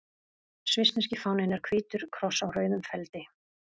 Svissneski fáninn er hvítur kross á rauðum feldi.